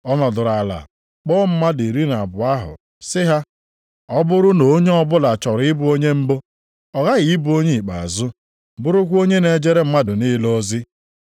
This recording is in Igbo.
Ọ nọdụrụ ala kpọọ mmadụ iri na abụọ ahụ, sị ha, “Ọ bụrụ na onye ọbụla chọrọ ịbụ onye mbụ, ọ ghaghị ịbụ onye ikpeazụ, bụrụkwa onye na-ejere mmadụ niile ozi.”